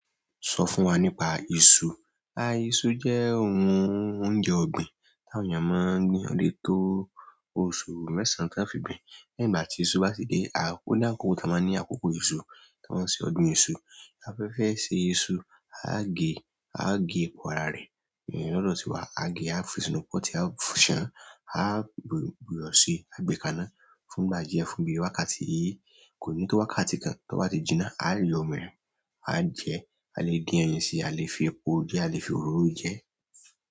Sọ fún wa nípa iṣu. Iṣu jẹ́ ohun oúnjẹ ọ̀gbìn tí àwọn èèyàn máa ń gbìn o le to òṣù mẹ́sàn-án tí a fi gbin. Ní ìgbà tí iṣu bá ti dé, ó ni àkókò, ta máa ní àkókò iṣu, táa máa ṣe ọdún iṣu. Ta ba fẹ ṣe iṣu a ge, a ge èpo ara rẹ eyen lọdọ̀ tiwa, a á gẹ, a á fi sínú pọtí, a á ṣán, a á bu iyọ̀ ṣi, a gbé kaná fún ìgbà díẹ̀, fún bí wákàtí kò ní tó wákàtí kan tó bá ti jinná, a á yọ òmíràn, a á jẹ, a lè dín ẹyin síi, a lè fi epo jẹ́, a lè fi òróró jẹ́.